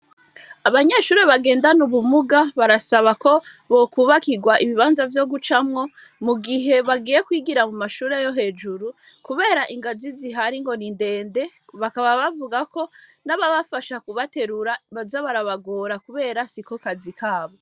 Abanyeshuri bagendana ubumuga barasaba ko bokubakirwa ibibanza vyo gucamwo mu gihe bagiye kwigira mu mashuri ayo hejuru, kubera ingazi zihari ngo nindende bakaba bavugako n'ababafasha kubaterura bazabarabagora, kubera sikokazi kabo.